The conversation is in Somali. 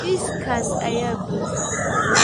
Miiskaas ayaa buuxa